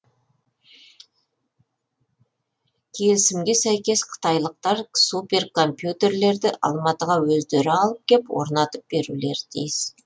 келімісге сәйкес қытайлықтар суперкомпьютерлерді алматыға өздері алып кеп орнатып берулері тиіс